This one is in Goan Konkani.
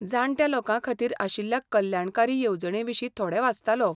जाण्ट्या लोकां खातीर आशिल्ल्या कल्याणकारी येवजणींविशीं थोडें वाचतालो.